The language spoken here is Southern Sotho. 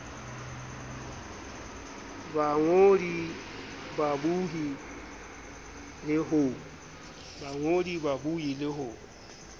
ba bangodi babohi le ho